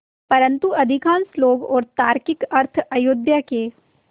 परन्तु अधिकांश लोग और तार्किक अर्थ अयोध्या के